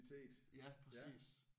Ja præcis